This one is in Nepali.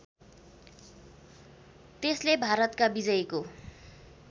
त्यसले भारतका विजयको